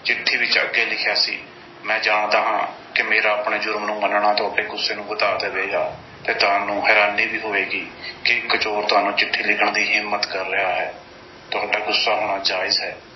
ਚਿੱਠੀ ਵਿੱਚ ਅੱਗੇ ਲਿਖਿਆ ਸੀ, ਮੈਂ ਜਾਣਦਾ ਹਾਂ ਕਿ ਮੇਰਾ ਆਪਣੇ ਜ਼ੁਰਮ ਨੂੰ ਮੰਨਣਾ, ਤੁਹਾਡੇ ਗੁੱਸੇ ਨੂੰ ਵਧਾ ਦੇਵੇਗਾ ਤੇ ਤੁਹਾਨੂੰ ਹੈਰਾਨੀ ਵੀ ਹੋਵੇਗੀ ਕਿ ਇੱਕ ਚੋਰ ਤੁਹਾਨੂੰ ਚਿੱਠੀ ਲਿਖਣ ਦੀ ਹਿੰਮਤ ਕਰ ਰਿਹਾ ਹੈ। ਤੁਹਾਡਾ ਗੁੱਸਾ ਹੋਣਾ ਜਾਇਜ਼ ਹੈ।